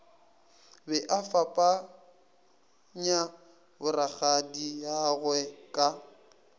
be a fapakanya borakgadiagwe ka